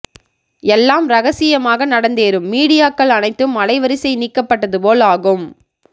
எல்லாம் ரகசியமாக நடந்தேறும் மீடியாக்கல் அனைத்தும் அலைவரிசை நிக்கப்பட்டது போல் ஆகும்